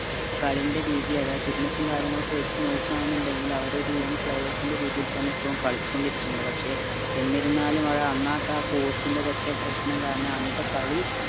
കളിന്റെ രീതി അതാ fitness ഉം കാര്യങ്ങളും ഒക്കെ വെച് നോക്ക എന്നിണ്ടേൽ അവരൊരു young players ൻ്റെ രീതിയിൽ തന്നെ ഇപ്പോളും കളിച്ചോണ്ട് ഇരിക്കുന്നുണ്ട് പക്ഷെ എന്നിരുന്നാലും ആ coach ൻ്റെ ഒരൊറ്റ പ്രശ്നം കാരണം അന്നത്തെ കളി